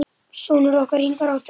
Sonur okkar, Ingvar, átti annað.